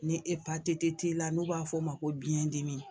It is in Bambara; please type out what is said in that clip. Ni epatiti t'i la n'u b'a fɔ o ma ko biyɛndimi.